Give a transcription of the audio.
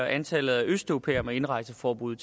antallet af østeuropæere med indrejseforbud